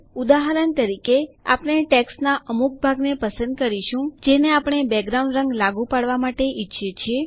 ઉદાહરણ તરીકે આપણે ટેક્સ્ટના અમુક ભાગને પસંદ કરીશું જેને આપણે બેકગ્રાઉન્ડ રંગ લાગુ કરવા માટે ઈચ્છીએ છીએ